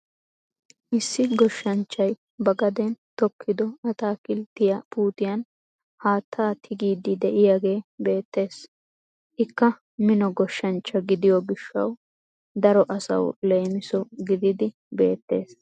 Issi goshanchchay ba gaden tokkido ataakilttiyaa puutiyaan haattaa tigiidi de'iyaagee beettees. Ikka mino goshshanchcha gidiyoo giishshawu daro asawu leemiso giididi beettees.